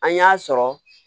An y'a sɔrɔ